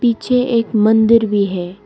पीछे एक मंदिर भी है।